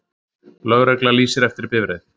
Lögregla lýsir eftir bifreið